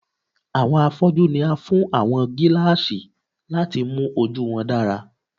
Awọn afọju ni a fun awọn gilaasi lati mu oju wọn dara